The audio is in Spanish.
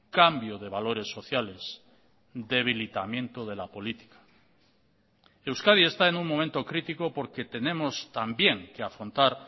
cambio de valores sociales debilitamiento de la política euskadi está en un momento crítico porque tenemos también que afrontar